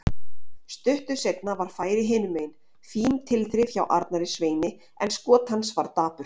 Stuttu seinna var færi hinumegin, fín tilþrif hjá Arnari Sveini en skot hans var dapurt.